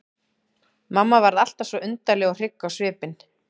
Mamma varð alltaf svo undarleg og hrygg á svipinn.